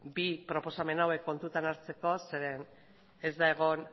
bi proposamen hauek kontutan hartzeko zeren ez da egon